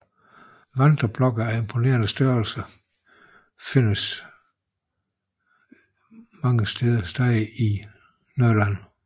Vandreblokke af imponerende størrelse findes mange steder i Norrland